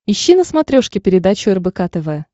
ищи на смотрешке передачу рбк тв